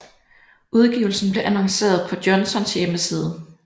Udgivelsen blev annonceret på Johnsons hjemmeside